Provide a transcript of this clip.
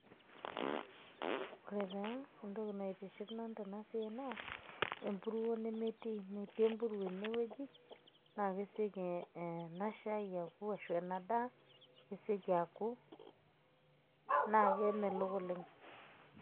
ore taa entoki naitiship anu tena siai naa empuruo nemetii, metiii empuruo ene wueji, naa kesioki ena shai aku shu ena daa kesioki aku naa kemelook oleng.